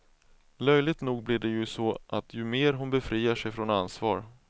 Löjligt nog blir det ju så att ju mer hon befriar sig från ansvar.